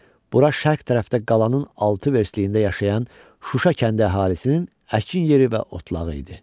Bura şərq tərəfdə qalanın altı verstliyində yaşayan Şuşa kəndi əhalisinin əkin yeri və otlağı idi.